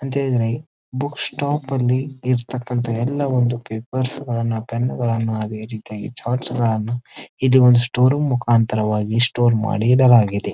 ಅದೇ book stop ಅಲ್ಲಿ ಇರತಕ್ಕಂಥ ಎಲ್ಲ ಒಂದು ಪೇಪರ್ಸ್ ಗಳನ್ನ ಪೆನ್ನುಗಳನ್ನ ಅದೇ ರೀತಿಯಾಗಿ ಇಡೀ ಒಂದು ಸ್ಟೋರ್ ರೂಮ್ ಮುಕಾಂತರ ಸ್ಟೋರ್ ಮಾಡಿ ಇಡಲಾಗಿದ್ರ್--